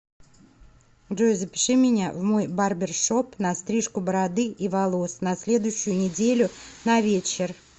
джой запиши меня в мой барбершоп на стрижку бороды и волос на следующую неделю на вечер